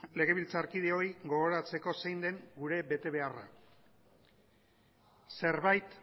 legebiltzarkideoi gogoratzeko zein den gure betebeharra zerbait